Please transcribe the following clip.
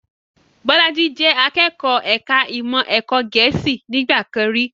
Bolaji jẹ akẹ́kọ̀ọ́ ẹ̀ka ìmọ̀ ẹ̀kọ́ Gẹ̀ẹ́sì nígbà kan rí